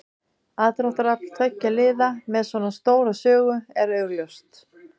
Aðdráttarafl tveggja liða með svona stóra sögu er augljóst.